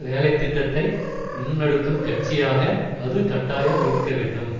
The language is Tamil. வேலை திட்டத்தை முன்னெடுக்கும் கட்சியாக அது கட்டாயம் இருக்க வேண்டும்